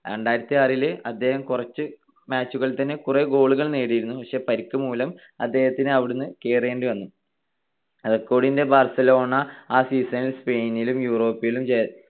രണ്ടായിരത്തിയാറിൽ അദ്ദേഹം കുറച്ചു match കളിൽ തന്നെ കുറെ goal കൾ നേടിയിരുന്നു. പക്ഷെ പരിക്കുമൂലം അദ്ദേഹത്തിന് അവിടെനിന്ന് കേറേണ്ടി വന്നു. റൈക്കാർഡിന്റെ ബാർസലോണ ആ season ൽ സ്പെയിനിലും യൂറോപ്പിലും